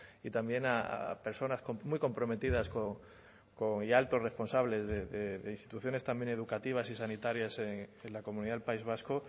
y también a personas muy comprometidas con y altos responsables de instituciones también educativas y sanitarias en la comunidad del país vasco